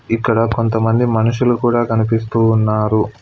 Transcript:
ఇక్కడ కొంతమంది మనుషులు కూడా కనిపిస్తూ ఉన్నారు.